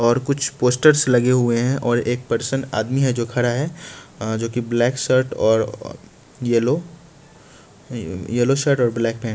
और कुछ पोस्टर्स लगे हुए हैं और एक पर्सन आदमी है जो खड़ा है जोकि ब्लैक शर्ट और येलो येलो शर्ट और ब्लैक पैंट --